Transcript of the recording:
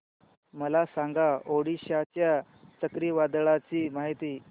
मला सांगा ओडिशा च्या चक्रीवादळाची माहिती